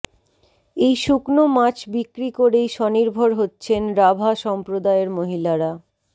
এই শুকনো মাছ বিক্রি করেই স্বনির্ভর হচ্ছেন রাভা সম্প্রদায়ের মহিলারা